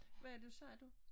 Hvad er du sagde du?